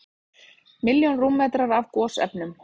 Milljón rúmmetrar af gosefnum